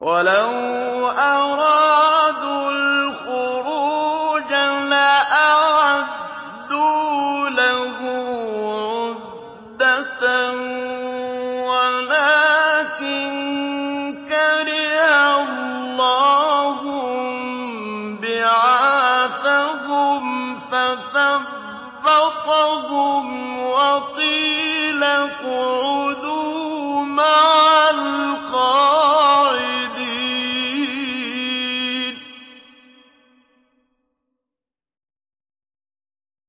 ۞ وَلَوْ أَرَادُوا الْخُرُوجَ لَأَعَدُّوا لَهُ عُدَّةً وَلَٰكِن كَرِهَ اللَّهُ انبِعَاثَهُمْ فَثَبَّطَهُمْ وَقِيلَ اقْعُدُوا مَعَ الْقَاعِدِينَ